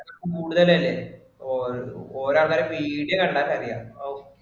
കൂടുതൽ അല്ലെ, ഓരോ ആൾക്കാരുടെ പീടിക കണ്ടാൽ അറിയാം.